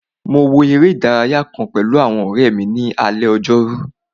Mo wo eré ìdárayá kàn pẹ̀lú àwọn ọ̀rẹ́ mi ní alé ojórú